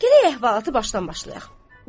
Gərək əhvalatı başdan başlayaq.